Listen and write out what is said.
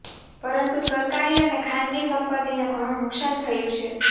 પરંતુ સરકારી અને ખાનગી સંપત્તિને ઘણું નુકસાન થયુ છે